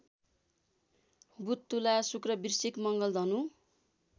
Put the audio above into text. बुधतुला शुक्रवृश्चिक मङ्गलधनु